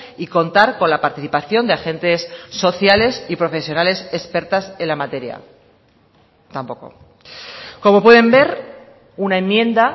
y contar con la participación de agentes sociales y profesionales expertas en la materia tampoco como pueden ver una enmienda